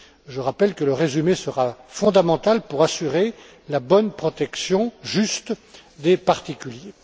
Je rappelle que le résumé sera fondamental pour assurer la protection correcte et juste des particuliers.